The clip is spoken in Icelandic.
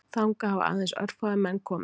Þangað hafa aðeins örfáir menn komið